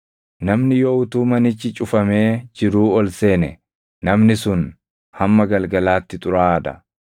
“Namni yoo utuu manichi cufamee jiruu ol seene, namni sun hamma galgalaatti xuraaʼaa dha.